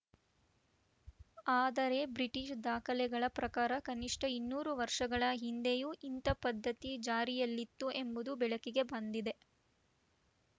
ಆದರೆ ಬ್ರಿಟೀಷ್‌ ದಾಖಲೆಗಳ ಪ್ರಕಾರ ಕನಿಷ್ಠ ಇನ್ನೂರು ವರ್ಷಗಳ ಹಿಂದೆಯೂ ಇಂಥ ಪದ್ಧತಿ ಜಾರಿಯಲ್ಲಿತ್ತು ಎಂಬುದು ಬೆಳಕಿಗೆ ಬಂದಿದೆ